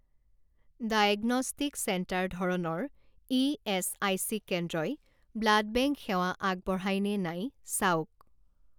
diagnostic centre ধৰণৰ ইএচআইচি কেন্দ্ৰই ব্লাড বেংক সেৱা আগবঢ়ায় নে নাই চাওক